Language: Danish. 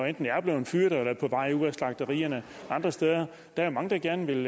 enten er blevet fyret eller er på vej ud af slagterierne andre steder der er mange der gerne vil